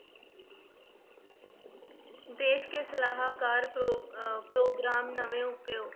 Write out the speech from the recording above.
ਦੇਸ ਦੇ ਸਲਾਹਕਾਰ ਪ੍ਰੋ~ ਅਹ ਪ੍ਰੋਗਰਾਮ ਅਤੇ ਨਵੇਂ ਉਪਾਅ।